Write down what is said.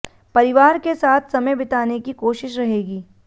परिवार के साथ समय बिताने की कोशिश रहेगी